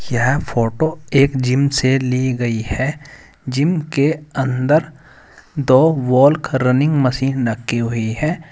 यह फोटो एक जिम से ली गई है जिम के अंदर दो वॉल्क रनिंग मशीन रखी हुई है।